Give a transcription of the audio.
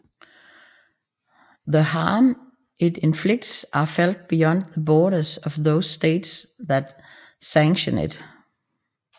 The harms it inflicts are felt beyond the borders of those States that sanction it